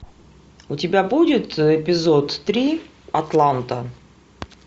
у тебя будет эпизод три атланта